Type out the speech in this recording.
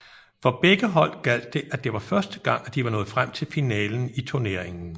For begge hold gjaldt det at det var første gang at de var nået frem til finalen i turneringen